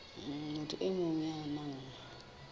motho e mong ya nang